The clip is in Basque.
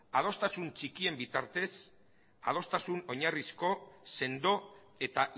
adostasun txikien bitartez adostasun oinarrizko sendo eta